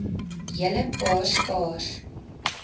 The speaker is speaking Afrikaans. hele paar skaars